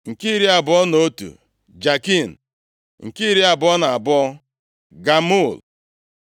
nke iri abụọ na otu, Jakin nke iri abụọ na abụọ, Gamul